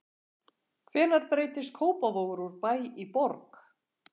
Hvenær breytist Kópavogur úr bæ í borg?